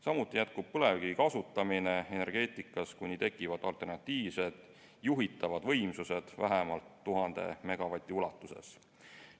Samuti jätkub põlevkivi kasutamine energeetikas, kuni tekivad alternatiivsed juhitavad võimsused vähemalt 1000 megavati ulatuses.